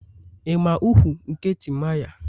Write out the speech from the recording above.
Ị ma ukwu; nke Timaya?